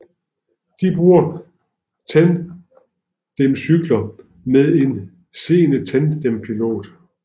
De bruger tandemcykler med en seende tandempilot